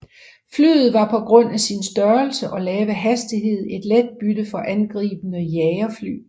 Flyet var på grund af sin størrelse og lave hastighed et let bytte for angribende jagerfly